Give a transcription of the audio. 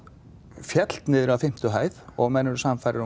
féll niður af fimmtu hæð og menn eru sannfærðir um